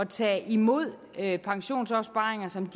tage imod pensionsopsparinger som